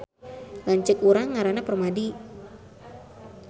Lanceuk urang ngaranna Permadi